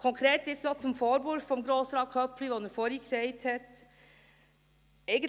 Konkret jetzt noch zum Vorwurf von Grossrat Köpfli, den er vorhin gesagt gemacht hat.